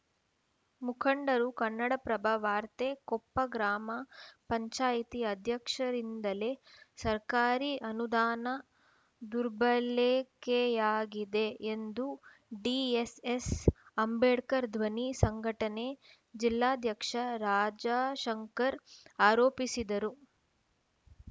ಮುಖಂಡರು ಕನ್ನಡಪ್ರಭ ವಾರ್ತೆ ಕೊಪ್ಪ ಗ್ರಾಮ ಪಂಚಾಯಿತಿ ಅಧ್ಯಕ್ಷರಿಂದಲೇ ಸರ್ಕಾರಿ ಅನುದಾನ ದುರ್ಬಳೆಕೆಯಾಗಿದೆ ಎಂದು ಡಿಎಸ್‌ಎಸ್‌ ಅಂಬೇಡ್ಕರ್‌ ಧ್ವನಿ ಸಂಘಟನೆ ಜಿಲ್ಲಾಧ್ಯಕ್ಷ ರಾಜಾಶಂಕರ್‌ ಆರೋಪಿಸಿದರು